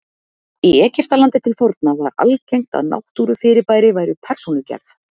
í egyptalandi til forna var algengt að náttúrufyrirbæri væru persónugerð